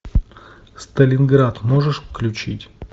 сталинград можешь включить